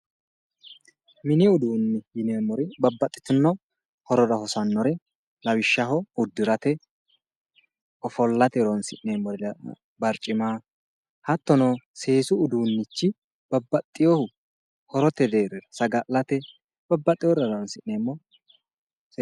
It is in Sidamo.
Mini uduunne yineemmori babbaxitinno horora hosannore lawishshaho uddurate ofollate horoonsi'neemmori barcima hattono seesu uduunnich babbaxeewohu horote deeri saga'late babbaxeworira horoonsi'neemmo